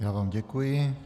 Já vám děkuji.